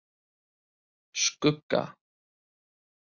Skugga